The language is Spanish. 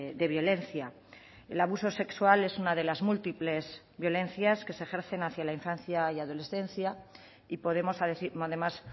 de violencia el abuso sexual es una de las múltiples violencias que se ejercen hacia la infancia y adolescencia y podemos además